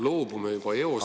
Loobume juba eos nendest …